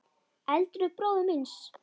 Eldri bróður míns?